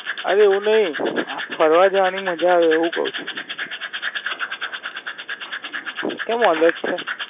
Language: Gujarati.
અરે એવું ની. ફરવા જવાની મજા આવે એવું કઉં છું. અમ કેમ અલગ છે?